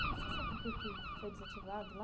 E você sabe por que que foi desativado lá?